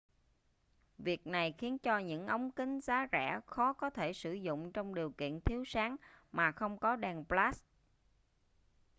việc này khiến cho những ống kính giá rẻ khó có thể sử dụng trong điều kiện thiếu sáng mà không có đèn flash